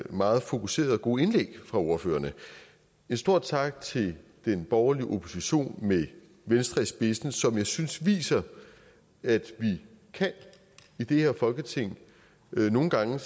meget fokuserede og gode indlæg fra ordførerne en stor tak til den borgerlige opposition med venstre i spidsen som jeg synes viser at vi i det her folketing nogle gange